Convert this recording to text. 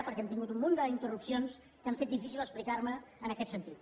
perquè hem tingut un munt d’interrupcions que han fet difícil explicar me en aquest sentit